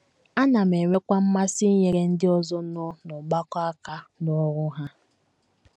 Ana m enwekwa mmasị inyere ndị ọzọ nọ n’ọgbakọ aka n’ọrụ ha.